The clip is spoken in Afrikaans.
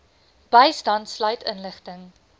bystand sluit inligting